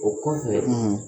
O ko in dɛ;